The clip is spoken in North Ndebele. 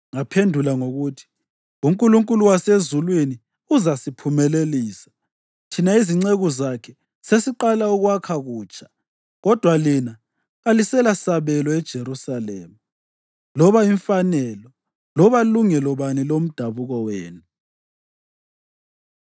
Ngabaphendula ngokuthi, “UNkulunkulu wasezulwini uzasiphumelelisa. Thina izinceku zakhe sesiqalisa ukwakha kutsha, kodwa lina, kalilasabelo eJerusalema, loba imfanelo loba lungelo bani lomdabuko wenu.”